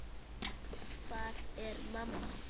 Hvar er mamma?